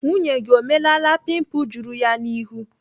Nwunye gị o melaala pimpul juru ya n'ihu?